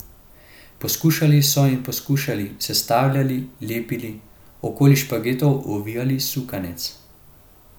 Poskušali so in poskušali, sestavljali, lepili, okoli špagetov ovijali sukanec.